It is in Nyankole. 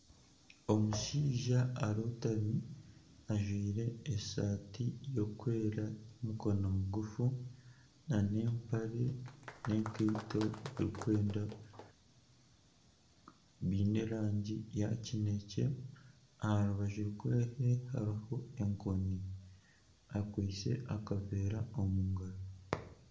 Omushaija arootami ajwire esaati erikwera y'emikono migufu nana empare n'enkaito biine erangi ya kinekye aha rubaju rwe hariho enkoni, akwitse akaveera omu ngaro.